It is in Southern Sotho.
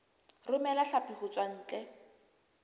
romela hlapi ho tswa ntle